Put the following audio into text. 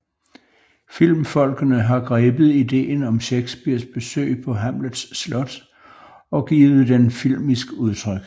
Filmfolkene har grebet ideen om Shakespeares besøg på Hamlets slot og givet den filmisk udtryk